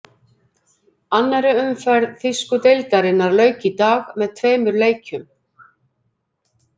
Annarri umferð þýsku deildarinnar lauk í dag með tveimur leikjum.